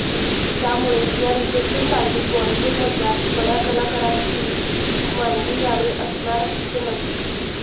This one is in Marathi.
त्यामुळे या रिसेप्शन पार्टीत बॉलिवूडमधल्या बड्या कलाकारांची मांदियाळी असणार हे नक्की